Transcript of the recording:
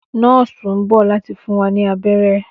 Nọọsi n bọ lati fun wa ni abẹrẹ.